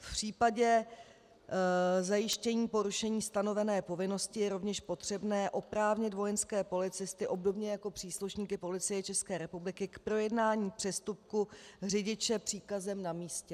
V případě zajištění porušení stanovené povinnosti je rovněž potřebné oprávnit vojenské policisty obdobně jako příslušníky Policie České republiky k projednání přestupku řidiče příkazem na místě.